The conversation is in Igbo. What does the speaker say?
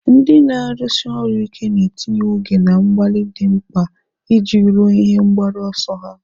Ndị na-arụsi ọrụ ike na-etinye oge na mgbalị dị mkpa iji ruo ihe mgbaru ọsọ ha.